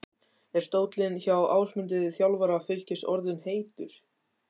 Er stóllinn hjá Ásmundi, þjálfara Fylkis orðinn heitur?